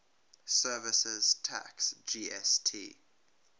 services tax gst